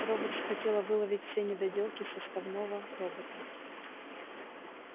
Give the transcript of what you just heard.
роботс хотела выловить все недоделки составного робота